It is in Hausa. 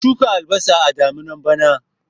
Ka shuka albasa a daminan bana